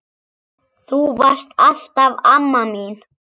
Þú varst alltaf amma mín.